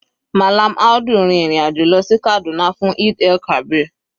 Mallam Audu rin ìrìn àjò lọ sí Kaduna fún Eid-el-kabir.